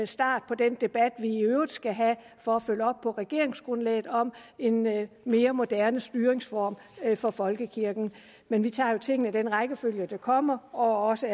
start på den debat vi i øvrigt skal have for at følge op på regeringsgrundlaget om en mere mere moderne styringsform for folkekirken men vi tager jo tingene i den rækkefølge de kommer og er også